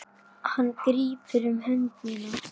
Hann grípur um hönd mína.